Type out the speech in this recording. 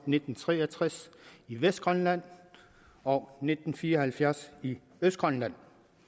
nitten tre og tres i vestgrønland og nitten fire og halvfjerds i østgrønland